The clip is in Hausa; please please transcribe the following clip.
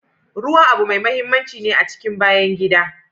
Ruwa abu mai mahimmanci ne a cikin bayan gida.